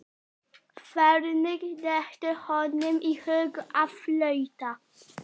Hvernig dettur honum í hug að flauta?